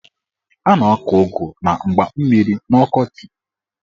A na-akọ ụgụ na mgba mmiri n'ọkọchị.